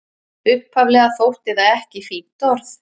Upphaflega þótti það ekki fínt orð.